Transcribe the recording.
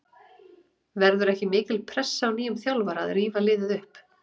Verður ekki mikil pressa á nýjum þjálfara að rífa liðið upp?